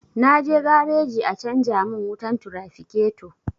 Na je gareji a canja mun wutar tirafiketo